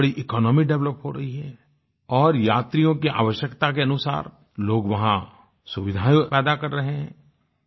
बहुत बड़ी economy develop हो रही है और यात्रियों की आवश्यकता के अनुसार लोग वहाँ सुविधाएँ पैदा कर रहे हैं